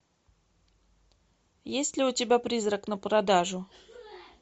есть ли у тебя призрак на продажу